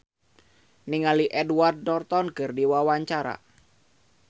Betharia Sonata olohok ningali Edward Norton keur diwawancara